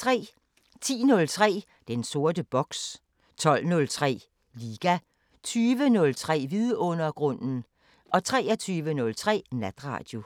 10:03: Den sorte boks 12:03: Liga 20:03: Vidundergrunden 23:03: Natradio